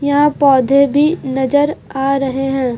यहां पौधे भी नजर आ रहे हैं।